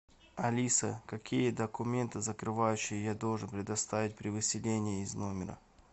алиса какие документы закрывающие я должен предоставить при выселении из номера